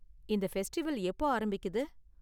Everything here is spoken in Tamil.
இந்த ஃபெஸ்டிவல் எப்போ ஆரம்பிக்குது?